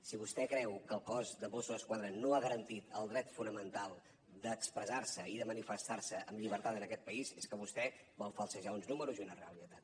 si vostè creu que el cos de mossos d’esquadra no ha garantit el dret fonamental d’expressar se i de manifestar se amb llibertat en aquest país és que vostè vol falsejar uns números i una realitat